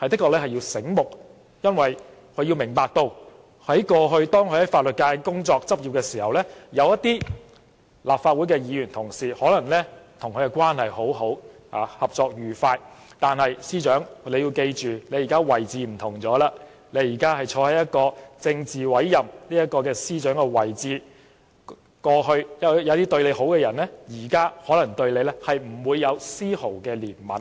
要聰明些，因為她應明白到，過去她在法律界工作、執業時，有些立法會的議員同事可能與其關係良好，合作愉快，但她現在位置不同了，她現在身處政治委任的司長位置，過去有些對她好的人，現在可能對她不會有絲毫憐憫。